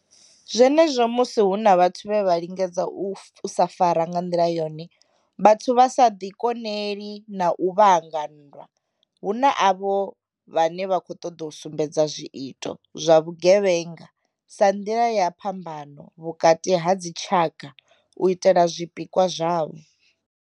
Zwenezwo musi hu na vhathu vhe vha lingedza u sa fara nga nḓila yone vhathu vha sa ḓi koneli na u vhanga nndwa, huna avho vhane vha khou ṱoḓa u sumbedza zwiito zwa vhugevhenga sa nḓila ya phambano vhukati ha dzi tshaka hu u itela zwi pikwa zwavho.